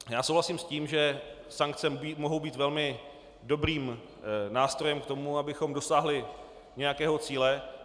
Já souhlasím s tím, že sankce mohou být velmi dobrým nástrojem k tomu, abychom dosáhli nějakého cíle.